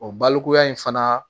O balikuya in fana